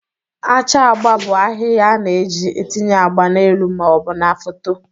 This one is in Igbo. Acha agba bụ ahịhịa a na-eji etinye agba n'elu ma ọ bụ na foto